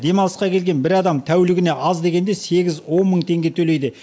демалысқа келген бір адам тәулігіне аз дегенде сегіз он мың теңге төлейді